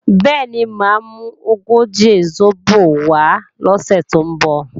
Bẹ́ẹ̀ni, mà á mú ogóje sóbò wá lọ́sè tó ń bọ̀